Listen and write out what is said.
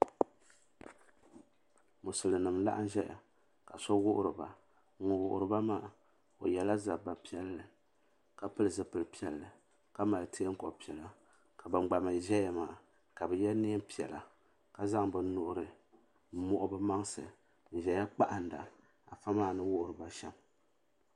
Musulin nima n laɣim zaya ka so wuhiri ba ŋun wuhiri ba maa o yela zabba piɛlli ka pili zipil piɛlli ka mali teenkob'piɛlla la ban gba mee zaya maa ka bɛ ye niɛn piɛla ka zaŋ bɛ nuhi m muɣi bɛ maŋsi n zaya n kpahinda afa maa ni wuhiri ba shiem.